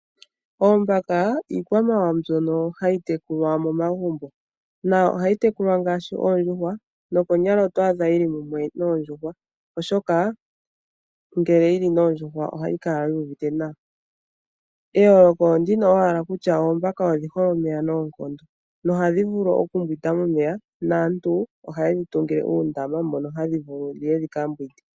Oombaka iikwamawawa mbyono hayi tekulwa momagumbo ohayi tekulwa ngaashi oondjuhwa nokonyala oto adha yili mumwe noondjuhwa oshoka ngele yili noondjuhwa ohayi kala yu uvite nawa eyoloko ondino owala kutya oombaka odhi hole omeya noonkondo nohadhi vulu okumbwinda momeya naantu ohayedhi tungile uundama mono hadhi vulu dhiye dhika mbwide.